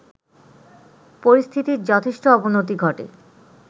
পরিস্থিতির যথেষ্ট অবনতি ঘটে